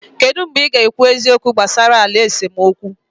Kedu mgbe ị ga-ekwu eziokwu gbasara ala esemokwu?